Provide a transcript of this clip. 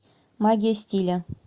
магия стиля